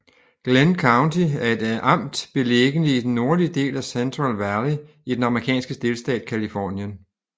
Glenn County er et amt beliggende i den nordlige del af Central Valley i den amerikanske delstat Californien